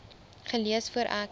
gelees voor ek